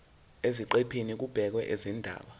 eziqephini kubhekwe izindaba